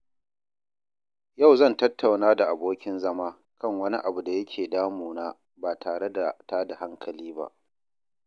Yau zan tattauna da abokin zama kan wani abu da yake damuna ba tare da tada hankali ba.